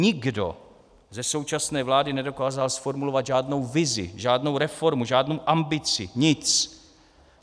Nikdo ze současné vlády nedokázal zformulovat žádnou vizi, žádnou reformu, žádnou ambici, nic.